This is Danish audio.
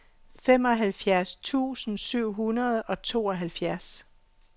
femoghalvfjerds tusind syv hundrede og tooghalvfjerds